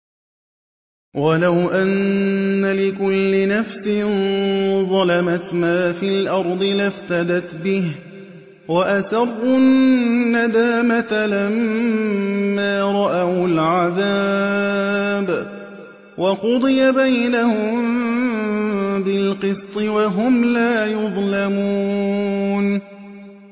وَلَوْ أَنَّ لِكُلِّ نَفْسٍ ظَلَمَتْ مَا فِي الْأَرْضِ لَافْتَدَتْ بِهِ ۗ وَأَسَرُّوا النَّدَامَةَ لَمَّا رَأَوُا الْعَذَابَ ۖ وَقُضِيَ بَيْنَهُم بِالْقِسْطِ ۚ وَهُمْ لَا يُظْلَمُونَ